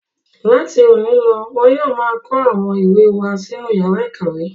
Láti òní lọ wọn yóò máa kó àwọn ìwé wá sínú ìyàrá-ìkàwé.